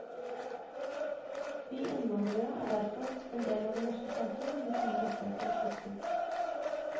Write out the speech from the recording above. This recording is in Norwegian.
Vi innvandrere er derfor endel av det norske samfunn med samme rettigheter og plikter.